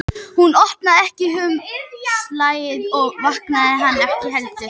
Hún opnaði ekki umslagið og vakti hann ekki heldur.